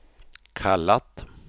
kallat